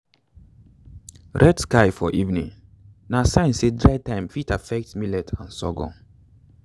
red sky for evening na sign say dry time fit affect millet and sorghum.